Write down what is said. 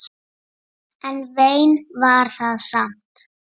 En vein var það samt.